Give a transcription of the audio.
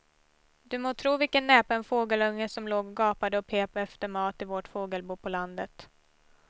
Du må tro vilken näpen fågelunge som låg och gapade och pep efter mat i vårt fågelbo på landet.